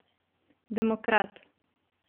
Demokrat.